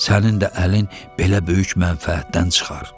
Sənin də əlin belə böyük mənfəətdən çıxar.